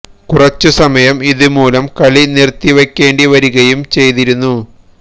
കുറച്ചു സമയം ഇതുമൂലം കളി നിര്ത്തി വയ്ക്കേണ്ടി വരികയും ചെയ്തിരുന്നു